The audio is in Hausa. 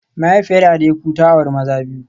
Mahaifiyar Adeku ta auri maza biyu